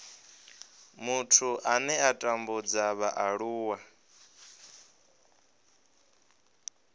muthu ane a tambudza vhaaluwa